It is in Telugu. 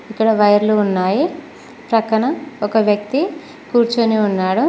ఇక్కడ వైర్లు ఉన్నాయి పక్కన ఒక వ్యక్తి కూర్చొని ఉన్నాడు.